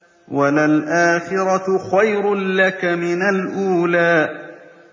وَلَلْآخِرَةُ خَيْرٌ لَّكَ مِنَ الْأُولَىٰ